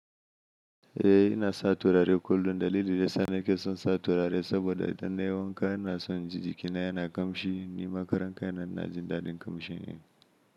Eh ina sa turare kullum daliliin da yasa nake son sa turare saboda idan nayi wanka ina son jiki na yana kamshi, ni makaranta ina jin dadin kamshi ne.